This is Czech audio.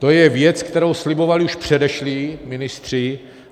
To je věc, kterou slibovali už předešlí ministři.